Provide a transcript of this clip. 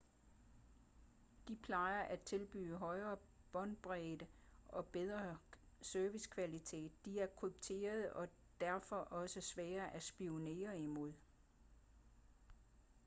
de plejer at tilbyde højere båndbredde og bedre servicekvalitet de er krypterede og er derfor også sværere at spionere imod